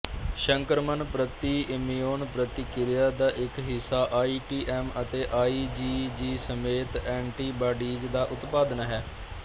ਸੰਕਰਮਣ ਪ੍ਰਤੀ ਇਮਿਊਨ ਪ੍ਰਤੀਕ੍ਰਿਆ ਦਾ ਇੱਕ ਹਿੱਸਾ ਆਈਟੀਐਮ ਅਤੇ ਆਈਜੀਜੀ ਸਮੇਤ ਐਂਟੀਬਾਡੀਜ਼ ਦਾ ਉਤਪਾਦਨ ਹੈ